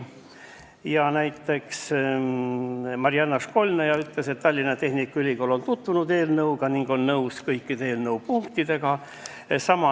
Marianna Školnaja ütles, et Tallinna Tehnikaülikool on tutvunud eelnõuga ning on nõus kõikide eelnõu punktidega.